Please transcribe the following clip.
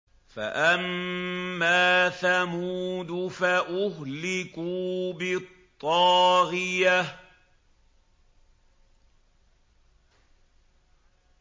فَأَمَّا ثَمُودُ فَأُهْلِكُوا بِالطَّاغِيَةِ